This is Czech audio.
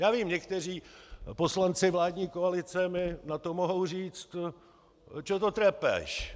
Já vím, někteří poslanci vládní koalice mi na to mohou říci: Čo to trepeš?